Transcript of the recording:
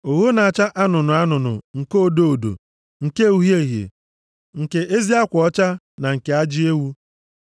Ogho na-acha anụnụ anụnụ, nke odo odo, nke uhie uhie, nke ezi akwa ọcha, na nke ajị ewu;